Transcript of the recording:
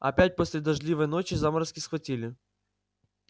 опять после дождливой ночи заморозки схватили